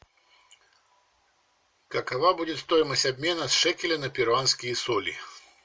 какова будет стоимость обмена шекеля на перуанские соли